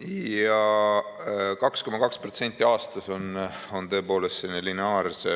Ja 2,2% aastas on tõepoolest selline lineaarse